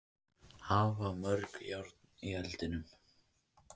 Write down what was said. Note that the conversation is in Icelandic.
Að hafa mörg járn í eldinum